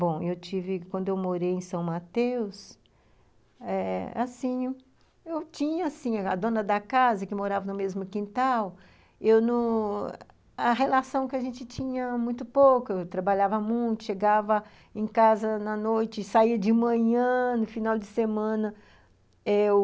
Bom, eu tive, quando eu morei em São Mateus eh, assim, eu tinha, assim, a dona da casa, que morava no mesmo quintal, eu não... a relação que a gente tinha, muito pouca, eu trabalhava muito, chegava em casa na noite, saía de manhã, no final de semana, eu...